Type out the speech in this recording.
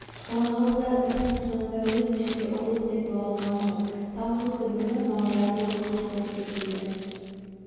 балағаздар ісін құнанбай өз ішінде ұрлық деп бағалаған жоқ тамырлы түбірлі наразылық қарсылық деп білді